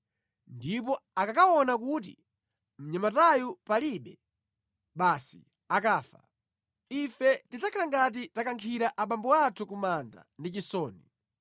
ndipo akakaona kuti mnyamatayu palibe, basi akafa. Ife tidzakhala ngati takankhira abambo athu ku manda ndi chisoni.